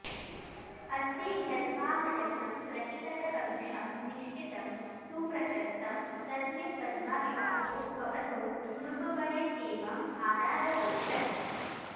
अस्ति ह्यद्वाहलग्नं प्रतिहतकलुषं निश्चितं सुप्रशस्तं तस्मिन् पद्माविवाहो भवतु नृपवरेत्येवमारादवोचत्